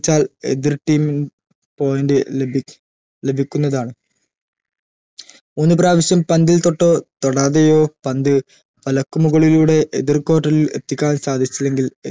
ച്ചാൽ എതിർ team ൻ point ലഭി ലഭിക്കുന്നതാണ് മൂന്ന് പ്രാവിശ്യം പന്തിൽ തൊട്ടോ തൊടാതെയോ പന്ത് തലക്കുമുകളിലൂടെ എതിർ court ൽ എത്തിക്കാൻ സാധിച്ചില്ലെങ്കിൽ